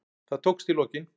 Það tókst í lokin.